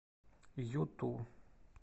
юту